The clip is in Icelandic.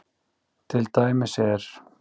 Til dæmis er